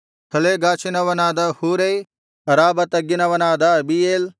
ಹಲೇಗಾಷಿನವನಾದ ಹೂರೈ ಅರಾಬಾ ತಗ್ಗಿನವನಾದ ಅಬೀಯೇಲ್